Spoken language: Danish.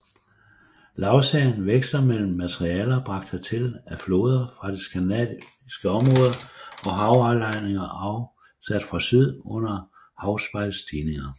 Lagserien veksler mellem materialer bragt hertil af floder fra det skandinaviske område og havaflejringer afsat fra syd under havspejlsstigninger